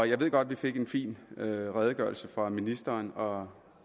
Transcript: jeg ved godt vi fik en fin redegørelse fra ministeren og